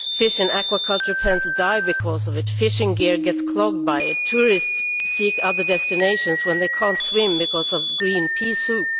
Fish in aquaculture pens die because of it, fishing gear gets clogged by it, and tourists seek other destinations when they cannot swim because of the green pea soup.